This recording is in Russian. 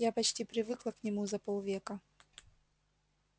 я почти привыкла к нему за полвека